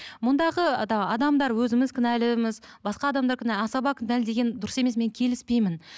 мұндағы адамдар өзіміз кінәліміз басқа адамдар асаба кінәлі деген дұрыс емес мен келіспеймін